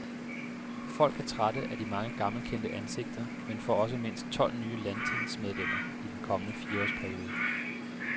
Folk er trætte af de mange gammelkendte ansigter, men får også mindst tolv nye landstingsmedlemmer i den kommende fireårs periode.